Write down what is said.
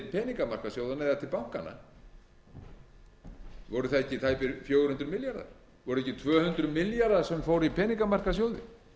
peningamarkaðssjóðanna eða til bankanna voru það ekki tæpir fjögur hundruð milljarðar voru það ekki tvö hundruð milljarðar sem fóru i peningamarkaðssjóði